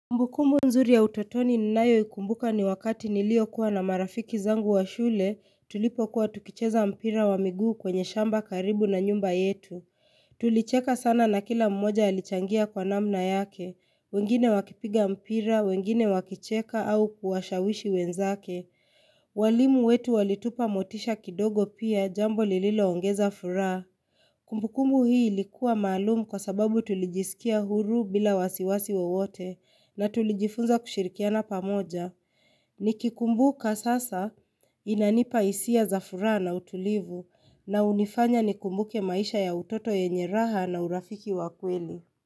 Kumbukumbu nzuri ya utotoni ninayoikumbuka ni wakati niliokuwa na marafiki zangu wa shule tulipokuwa tukicheza mpira wa miguu kwenye shamba karibu na nyumba yetu. Tulicheka sana na kila mmoja alichangia kwa namna yake, wengine wakipiga mpira, wengine wakicheka au kuwashawishi wenzake. Walimu wetu walitupa motisha kidogo pia jambo lililoongeza furaha. Kumbukumbu hii likuwa maalum kwa sababu tulijisikia huru bila wasiwasi wowote na tulijifunza kushirikiana pamoja. Nikikumbuka sasa inanipa hisia za furaha na utulivu na hunifanya nikumbuke maisha ya utoto yenye raha na urafiki wa kweli.